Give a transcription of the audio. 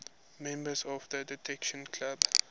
members of the detection club